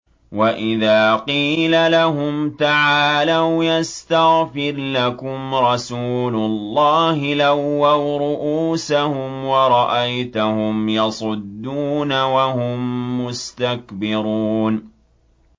وَإِذَا قِيلَ لَهُمْ تَعَالَوْا يَسْتَغْفِرْ لَكُمْ رَسُولُ اللَّهِ لَوَّوْا رُءُوسَهُمْ وَرَأَيْتَهُمْ يَصُدُّونَ وَهُم مُّسْتَكْبِرُونَ